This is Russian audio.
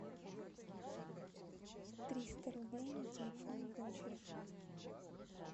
триста рублей на телефон дочери